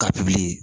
Ka pikiri